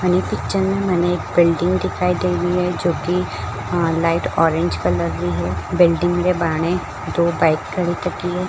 इन picture में मने एक बिल्डिंग दिखाई दे रही है जोकि लाइट ऑरेंज कलर री है बिल्डिंग के बाने दो बाइक खड़ी कट्टी है।